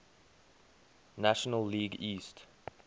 national league east